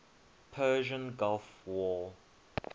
persian gulf war